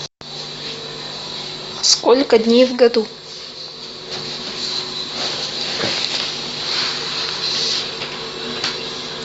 сколько дней в году